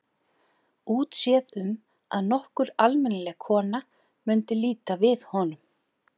Útséð um að nokkur almennileg kona mundi líta við honum.